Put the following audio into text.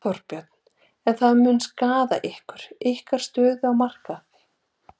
Þorbjörn: En það mun skaða ykkur, ykkar stöðu á markaði?